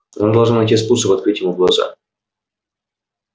она должна найти способ открыть ему глаза